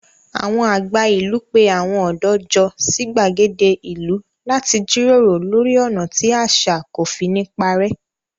Àwọn àgbà ìlú pé àwọn ọ̀dọ́ jọ sí gbàgede ìlú láti jíròrò lórí ọ̀nà tí àṣà kò fi ní parẹ́.